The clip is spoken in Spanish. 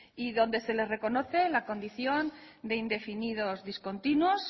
y donde se les reconoce la condición de indefinidos discontinuos